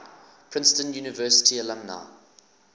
princeton university alumni